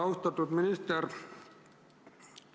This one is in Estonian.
Austatud minister!